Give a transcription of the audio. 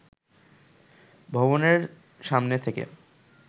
ভবনের সামনে থেকে